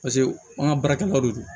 Paseke an ka baarakɛlaw de don